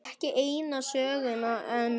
Ekki eina söguna enn.